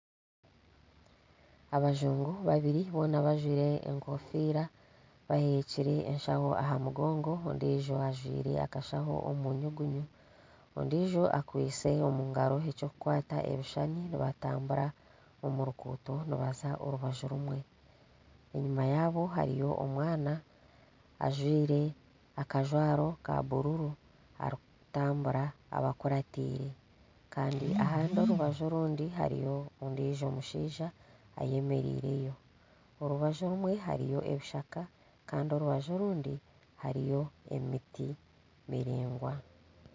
Abajungu babiri boona bajwire enkofiira bahekire enshaho aha mugongo, ondiijo ajwire akashaho omu nyugunyu, ondiijo akwitse omu ngaro eky'okukwata ebishushani nibatambura omu nguuto barikuza orubaju rumwe, enyima yaabo hariyo omwana ajwire akajwaro ka bururu arikutambura abakuraatiire kandi orubaju orundi hariyo ondiijo mushaija eyemereireyo orubaju orumwe ebishaka kandi orubaju orundi hariyo emiti miraingwa